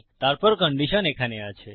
তারপর কন্ডিশন এখানে আছে